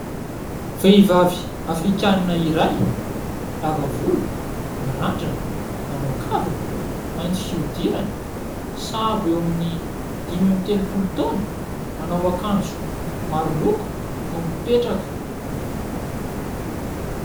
Vehivavy Afrikanina iray, lava volo, mirandrana, manao kavina, mainty fihodirana. Sahabo eo amin'ny dimy amby telopolo taona. Manao akanjo maro loko no mipetraka.